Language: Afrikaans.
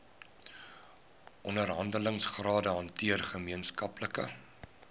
onderhandelingsrade hanteer gemeenskaplike